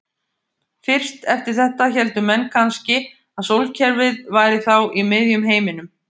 Fyrst eftir þetta héldu menn kannski að sólkerfið væri þá í miðjum heiminum.